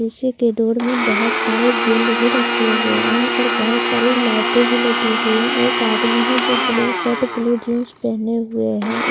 उसी के डोर में बहुत सारे गेंद भी रखे हुए है यहाँ पर बहुत सारी लाइटें भी लगी हुई है एक आदमी है जो ब्लू शर्ट ब्लू जीन्स पहने हुए है उसके पास --